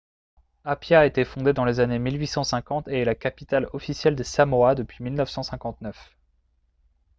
apia a été fondée dans les années 1850 et est la capitale officielle des samoa depuis 1959